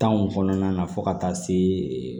Tanw kɔnɔna na fo ka taa se